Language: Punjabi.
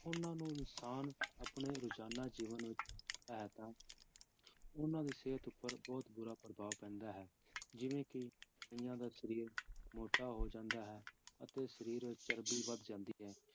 ਉਹਨਾਂ ਨੂੰ ਇਨਸਾਨ ਆਪਣੇ ਰੁਜ਼ਾਨਾ ਜੀਵਨ ਵਿੱਚ ਹੈ ਤਾਂ ਉਹਨਾਂ ਦੀ ਸਿਹਤ ਉੱਪਰ ਬਹੁਤ ਬੁਰਾ ਪ੍ਰਭਾਵ ਪੈਂਦਾ ਹੈ ਜਿਵੇਂ ਕਿ ਕਈਆਂ ਦਾ ਸਰੀਰ ਮੋਟਾ ਹੋ ਜਾਂਦਾ ਹੈ ਅਤੇ ਸਰੀਰ ਵਿੱਚ ਚਰਬੀ ਵੱਧ ਜਾਂਦੀ ਹੈ